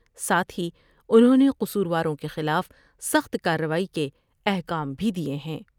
ساتھ ہی انہوں نے قصورواروں کے خلاف سخت کاروائی کے احکام بھی دئے ہیں ۔